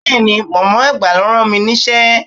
Bẹ́ẹ̀ni, mọ̀mọ́ àgbà ló rán mi níṣẹ́.